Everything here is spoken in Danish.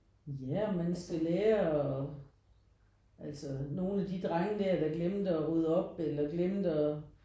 Ja og man skal lære og altså nogen af de drenge der der glemte at rydde på eller glemte og